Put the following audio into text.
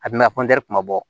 A bina kuma bɔ